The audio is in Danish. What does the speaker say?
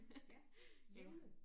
Ja levende?